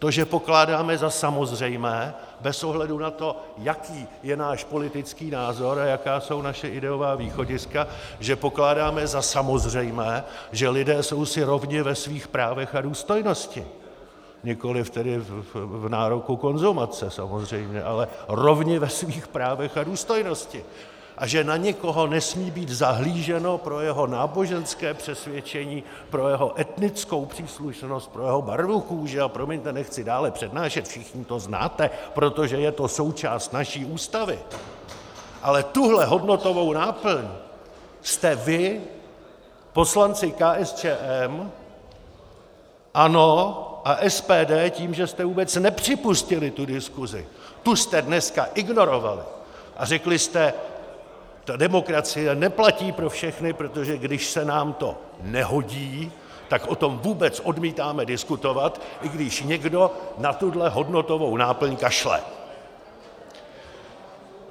To, že pokládáme za samozřejmé bez ohledu na to, jaký je náš politický názor a jaká jsou naše ideová východiska, že pokládáme za samozřejmé, že lidé jsou si rovni ve svých právech a důstojnosti, nikoliv tedy v nároku konzumace samozřejmě, ale rovni ve svých právech a důstojnosti a že na nikoho nesmí být zahlíženo pro jeho náboženské přesvědčení, pro jeho etnickou příslušnost, pro jeho barvu kůže, a promiňte, nechci dále přednášet, všichni to znáte, protože je to součást naší Ústavy, ale tuhle hodnotovou náplň jste vy, poslanci KSČM, ANO a SPD, tím, že jste vůbec nepřipustili tu diskuzi, tu jste dneska ignorovali a řekli jste: ta demokracie neplatí pro všechny, protože když se nám to nehodí, tak o tom vůbec odmítáme diskutovat, i když někdo na tuhle hodnotovou náplň kašle!